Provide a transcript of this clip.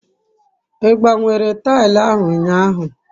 I gbanwere taili ahu unyahu?